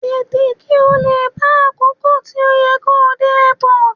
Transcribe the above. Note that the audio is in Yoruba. Tètè, kí ó lè bá àkókò tí ó yẹ kó dé Airport.